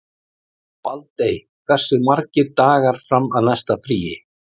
Baldey, hversu margir dagar fram að næsta fríi?